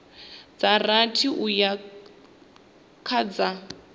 dza rathi uya kha dza